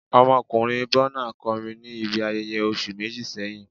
Ọmọkunrin Burna kọrin ni ibi ayẹyẹ oṣu meji sẹhin